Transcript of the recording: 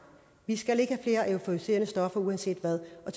vi skal ikke flere euforiserende stoffer uanset hvad og